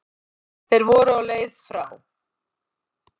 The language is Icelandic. Þeir voru á leið frá